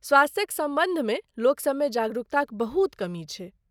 स्वास्थ्यक सम्बन्धमे लोकसभमे जागरूकताक बहुत कमी छै।